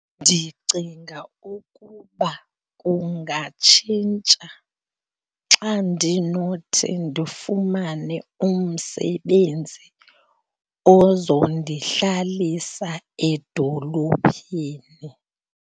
Ndicinga ukuba kungatshintsha xa ndinothi ndifumane umsebenzi ozondihlalisa edolophini.